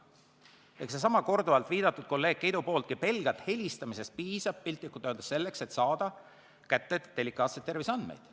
See on see, millele viitas korduvalt kolleeg Keit, et pelgalt helistamisest piisab – piltlikult öeldes –, et saada kätte delikaatseid terviseandmeid.